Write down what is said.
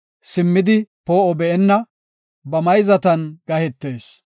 simmidi poo7o be7onna, ba mayzatan gahetees.